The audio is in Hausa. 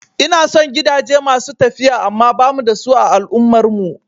Ina son gidaje masu tafiya amma bamu da su a al'ummar mu